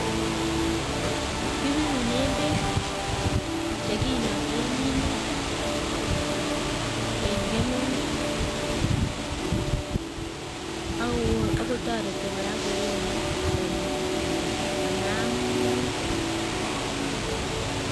Kipirunen beek che kinake minutik en kemeut akotoreti kora koone taritik, amaam minutik